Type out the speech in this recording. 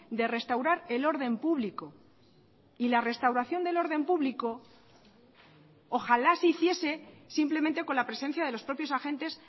de restaurar el orden público y la restauración del orden público ojalá se hiciese simplemente con la presencia de los propios agentes